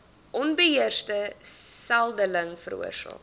onbeheerste seldeling veroorsaak